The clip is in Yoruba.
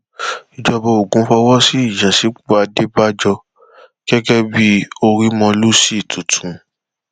ìjọba ogun fọwọ sí ìyànsípò àdébàjọ gẹgẹ bíi orímólúsì tuntun